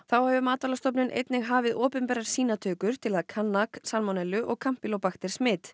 þá hefur einnig hafið opinberar sýnatökur til að kanna salmonellu og